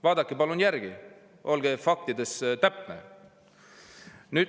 Vaadake palun järele, olge faktides täpne.